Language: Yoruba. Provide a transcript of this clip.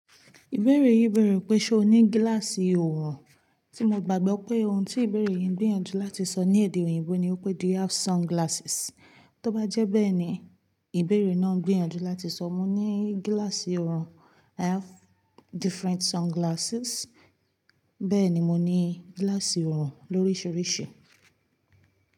Ìbéèrè yìí bẹ̀rẹ̀ pé ṣé o ní gíláàsì òòrùn. Tí mo gbàgbọ́ pé ohun tí ìbéèrè yìí ń gbìyànjú láti sọ ní èdè òyìnbó ni ó pé do you have sunglasses? Tó bá jẹ́ bẹ́ẹ̀ ni ìbéèrè náà ń gbìyànjú láti sọ mo ní gíláàsì òòrùn. I have different sunglasses. Bẹ́ẹ̀ ni mo ní gíláàsì òòrùn lóríṣiríṣi.